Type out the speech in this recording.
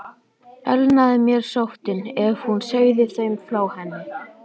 Elnaði mér sóttin, ef hún segði þeim frá henni?